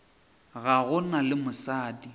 ga go na le mosadi